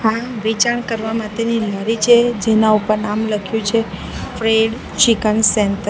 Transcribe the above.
આ વેચાણ કરવા માટેની લારી છે જેના ઉપર નામ લખ્યું છે ફ્રેડ ચિકન સેન્ટર .